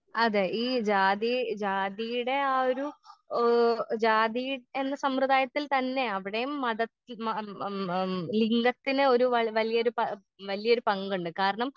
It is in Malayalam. അതെ ഈ ജാതി ജാതിയുടെ ഏ ജാതി എന്ന സമ്പ്രദായത്തിൽ തന്നെ അവിടെയും മതത്തി ഒരു വ വലിയൊരു പ വല്ല്യൊരു പങ്കുണ്ട് കാരണം.